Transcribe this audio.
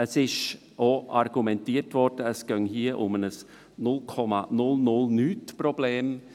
Es wurde auch argumentiert, es ginge um ein «0,0000-nichts-Problem».